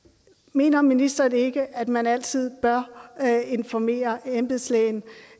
mener ministeren ikke at man altid bør informere embedslægen